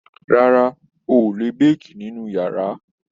Rárá, o ò lè béèkì nínú yàrá.